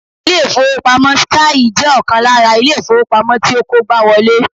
Ilé ìfowópamọ́ 'Skye' jẹ́ ọkàn lára Ilé ìfowópamọ́ tí ó kógbáwolé